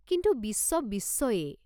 কিন্তু বিশ্ব বিশ্বয়েই।